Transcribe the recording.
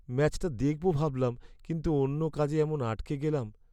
ম্যাচটা দেখবো ভাবলাম, কিন্তু অন্য কাজে এমন আটকে গেলাম।